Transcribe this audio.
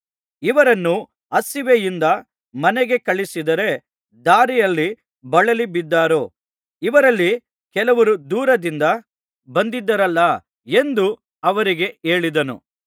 ಇವರನ್ನು ಹಸಿವೆಯಿಂದ ಮನೆಗೆ ಕಳುಹಿಸಿದರೆ ದಾರಿಯಲ್ಲಿ ಬಳಲಿ ಬಿದ್ದಾರು ಇವರಲ್ಲಿ ಕೆಲವರು ದೂರದಿಂದ ಬಂದಿದ್ದಾರಲ್ಲಾ ಎಂದು ಅವರಿಗೆ ಹೇಳಿದನು